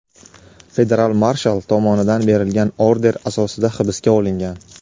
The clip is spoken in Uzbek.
federal marshal tomonidan berilgan order asosida hibsga olingan.